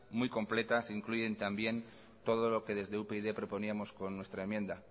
muy completas se incluyen también todo lo que desde upyd proponíamos con nuestra enmienda